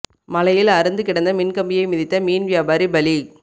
மழையில் அறுந்து கிடந்த மின் கம்பியை மிதித்த மீன் வியாபாரி பலி